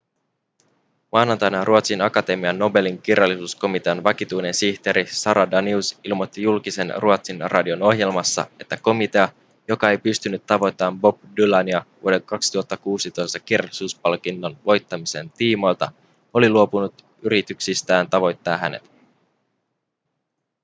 maanantaina ruotsin akatemian nobelin kirjallisuuskomitean vakituinen sihteeri sara danius ilmoitti julkisesti ruotsin radion ohjelmassa että komitea joka ei pystynyt tavoittamaan bob dylania vuoden 2016 kirjallisuuspalkinnon voittamisen tiimoilta oli luopunut yrityksistään tavoittaa hänet